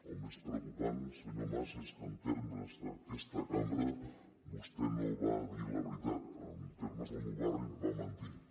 el més preocupant senyor mas és que en termes d’aquesta cambra vostè no va dir la veritat en termes del meu barri va mentir